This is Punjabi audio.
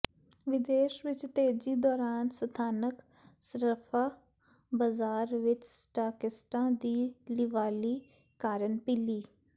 ਵਿਦੇਸ਼ ਵਿਚ ਤੇਜ਼ੀ ਦੌਰਾਨ ਸਥਾਨਕ ਸਰਾਫਆ ਬਾਜ਼ਾਰ ਵਿਚ ਸਟਾਕਿਸਟਾਂ ਦੀ ਲਿਵਾਲੀ ਕਾਰਨ ਪੀਲੀ